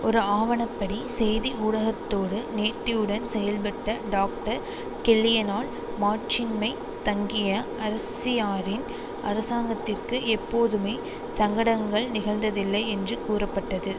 ஒரு ஆவணப்படி செய்தி ஊடகத்தோடு நேர்த்தியுடன் செயல்பட்ட டாக்டர் கெல்லியினால் மாட்சிம்மை தங்கிய அரசியாரின் அரசாங்கத்திற்கு எப்பொதுமே சங்கடங்கள் நிகழ்ந்ததில்லை என்று கூறப்பட்டது